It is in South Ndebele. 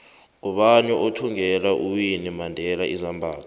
ngubani othvngela uwinnie mandela izambatho